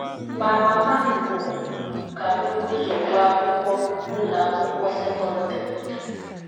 Ma, mama m kwuru ka m buru ụzọ gụọ akwụkwọ n’ụlọ akwụkwọ sekọndrị.